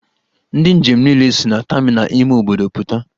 Ndi njem niile si na terminal ime obodo puta.